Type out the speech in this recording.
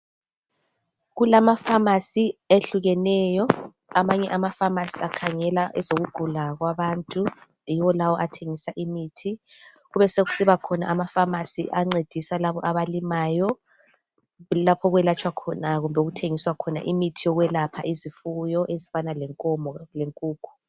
Kulamafamasi ehlukeneyo amanye amafamasi akhangala ezokugula kwabantu .Yiwo lawo athengisa imithi .Kube sokusiba khona amafamasi ancedisa labo abalimayo ,kulapho okwelatshwa khona kumbe okuthengiswa khona imithi yokwelapha izifuyo ezifana lenkomo lenkukhu.